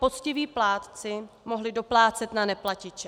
poctiví plátci mohli doplácet na neplatiče.